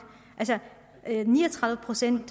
ni og tredive procent